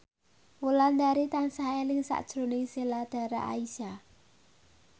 Wulandari tansah eling sakjroning Sheila Dara Aisha